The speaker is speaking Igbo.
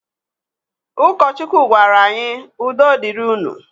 Ụkọchukwu gwara anyị 'udo dịrị unu'.